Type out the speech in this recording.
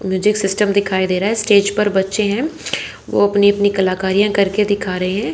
Music system दिखाई दे रहा है स्टेज पर बच्चे हैं वो अपनी अपनी कलाकारिया करके दिखा रहे हैं।